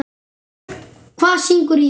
Hvað syngur í þér?